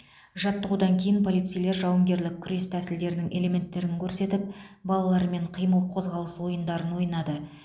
жаттығудан кейін полицейлер жауынгерлік күрес тәсілдерінің элементтерін көрсетіп балалармен қимыл қозғалыс ойындарын ойнады